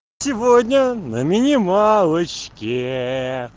сегодня на минималочке